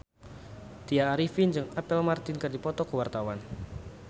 Tya Arifin jeung Apple Martin keur dipoto ku wartawan